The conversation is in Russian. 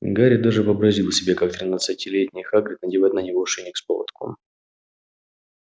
гарри даже вообразил себе как тринадцатилетний хагрид надевает на него ошейник с поводком